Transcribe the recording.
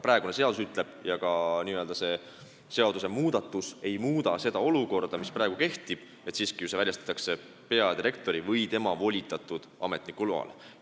Praegune seadus ütleb – ka see seadusmuudatus ei muuda seda olukorda –, et relv väljastatakse peadirektori või tema volitatud ametniku loal.